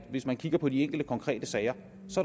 hvis man kigger på de enkelte konkrete sager